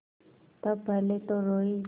तब पहले तो रोयी